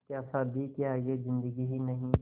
क्या शादी के आगे ज़िन्दगी ही नहीं